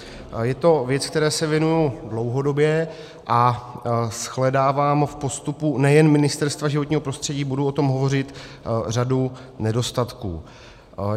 Je to věc, které se věnuji dlouhodobě, a shledávám v postupu nejen Ministerstva životního prostředí - budu o tom hovořit - řadu nedostatků.